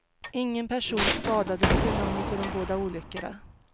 Ingen person skadades vid någon av de båda olyckorna.